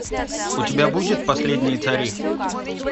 у тебя будет последние цари